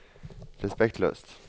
respektløst